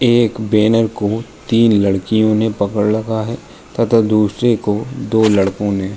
एक बैनर को तीन लड़कियों ने पकड़ रखा हैं तथा दूसरे को दो लड़को ने।